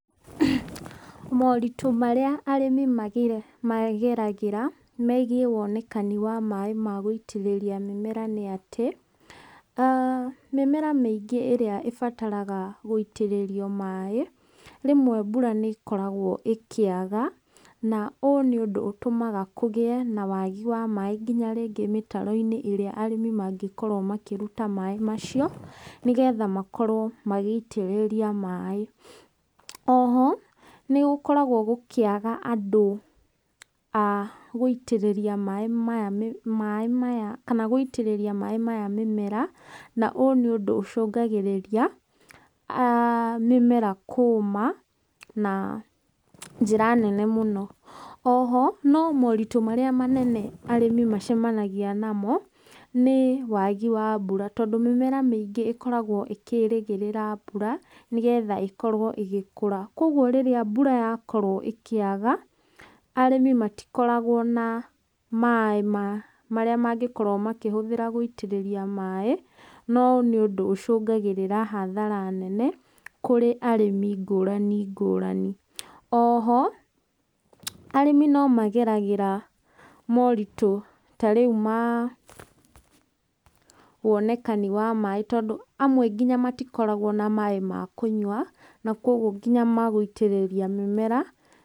Moritũ marĩa arĩmi megeragĩra megiĩ maaĩ ma gũitĩrĩria mĩmera nĩ ati: mĩmera mĩingĩ ĩrĩa ĩbataraga gũitĩrĩrio maaĩ, rĩmwe mbura nĩ ĩkoragwo ĩkĩaga, na ũũ nĩ ũndũ ũtũmaga kũgie na waagi wa maaĩ nginya rĩngĩ mĩtaro-ini ĩrĩa arĩmi mangĩkorwo makĩruta maaĩ macio, nĩ getha makorwo magĩitĩrĩria maaĩ. Oho, nĩ gũkoragwo gũkĩaga andũ a gũitĩrĩria maaĩ maya mĩmera, na ũyũ nĩ ũndũ ũcũngagĩrĩria mĩmera kũma na njĩra nene mũno. Oho, no moritũ marĩa manene arĩmi macamanagia namo nĩ waagi wa mbura, tondũ mĩmera mĩingĩ ĩkoragwo ĩkĩrĩgĩrĩra mbura, nĩ getha ĩkorwo ĩgĩkũra. Kogwo rĩrĩa mbura yakorwo ĩkĩaga, arĩmi matikoragwo na maaĩ marĩa mangĩkorwo makĩhũthĩra gũitĩrĩria maaĩ. Na ũyũ nĩ ũndũ ũcũngagĩrĩra hathara nene kurĩ arĩmi ngũrani ngũrani. Oho, arĩmi no mageragĩra moritũ ta rĩu ma wonekani wa maaĩ, tondũ amwe nginya matikoragwo na maaĩ ma kũnyua, na kogwo nginya ma gũitĩrĩria mĩmera.